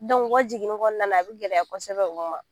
u ka jiginni kɔnɔna na a bɛ gɛlɛya kosɛbɛ u ma